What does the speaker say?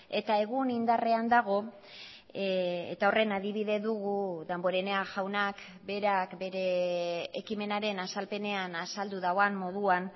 eta egun indarrean dago eta horren adibide dugu damborenea jaunak berak bere ekimenaren azalpenean azaldu duen moduan